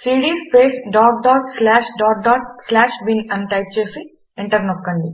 CD space dot dot slash dot dot slash bin అని type చేసి enter నొక్కండి